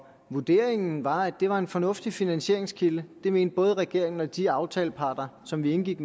vurderingen var at det er en fornuftig finansieringskilde det mente både regeringen og de aftaleparter som vi indgik